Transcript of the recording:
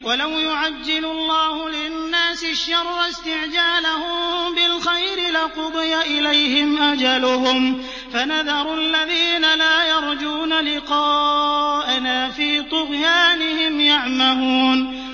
۞ وَلَوْ يُعَجِّلُ اللَّهُ لِلنَّاسِ الشَّرَّ اسْتِعْجَالَهُم بِالْخَيْرِ لَقُضِيَ إِلَيْهِمْ أَجَلُهُمْ ۖ فَنَذَرُ الَّذِينَ لَا يَرْجُونَ لِقَاءَنَا فِي طُغْيَانِهِمْ يَعْمَهُونَ